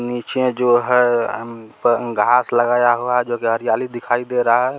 और नीचे जो है घास लगाया हुआ है जो कि हरियाली देखी दे रहा है।